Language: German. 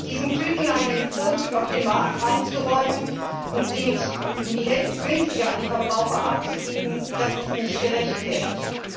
Diesen Tüten einen Vorzug auf dem Markt einzuräumen und sie um die Hälfte günstiger an die Verbraucher abzugeben, ist nicht gerechtfertigt.